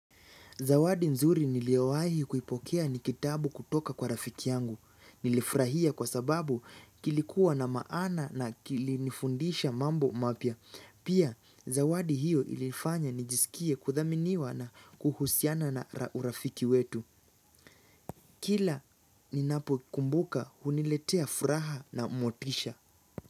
Zawadi nzuri niliyowahi kuipokea ni kitabu kutoka kwa rafiki yangu. Nilifurahia kwa sababu kilikuwa na maana na kilifundisha mambo mapya. Pia zawadi hiyo ilifanya nijisikie kuthaminiwa na kuhusiana na urafiki wetu. Kila ninapo kumbuka huniletea furaha na motisha.